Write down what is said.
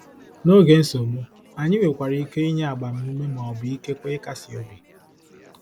N'oge nsogbu, anyị nwekwara ike inye agbamume ma ọ bụ ikekwe ịkasi obi.